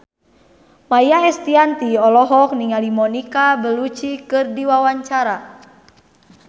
Maia Estianty olohok ningali Monica Belluci keur diwawancara